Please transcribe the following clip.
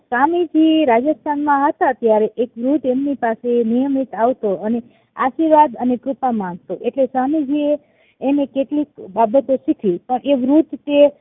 સ્વામીજી રાજસ્થાન માં હતા ત્યારે એક વૃદ્ધ એમની પાસે નિયમિત આવતો અને આશીર્વાદ અને કૃપા માંગતો એટલે સ્વામીજી એ એને કેટલીક બાબતો શીખવી એ વૃદ્ધ તે